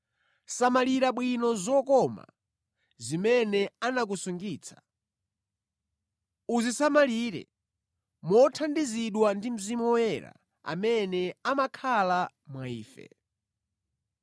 Samalira bwino zokoma zimene anakusungitsa. Uzisamalire mothandizidwa ndi Mzimu Woyera amene amakhala mwa ife.